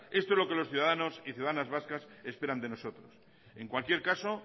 esto es lo que los ciudadanos y ciudadanas vascas esperan de nosotros en cualquier caso